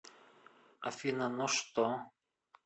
афина но что